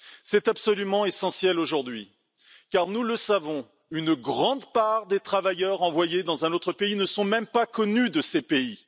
C'est absolument essentiel aujourd'hui car, nous le savons, une grande part des travailleurs envoyés dans un autre pays ne sont même pas connus de ce pays.